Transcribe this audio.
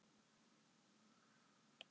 Mars, hvenær kemur fimman?